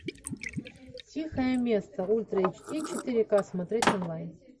тихое место ультра эйч ди четыре ка смотреть онлайн